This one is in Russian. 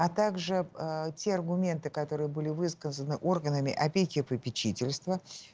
а также аа те аргументы которые были высказаны органами опеки и попечительства